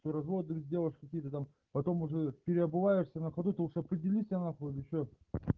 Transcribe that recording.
с разводами девушки какие то там потом уже переобуваешься на ходу ты уж определишься нахуй или че